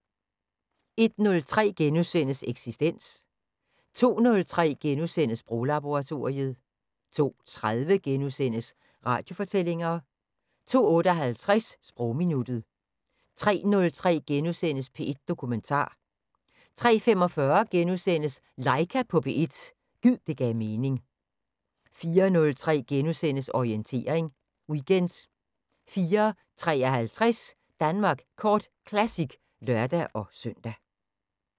01:03: Eksistens * 02:03: Sproglaboratoriet * 02:30: Radiofortællinger * 02:58: Sprogminuttet 03:03: P1 Dokumentar * 03:45: Laika på P1 – gid det gav mening * 04:03: Orientering Weekend * 04:53: Danmark Kort Classic (lør-søn)